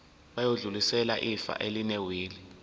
bayodlulisela ifa elinewili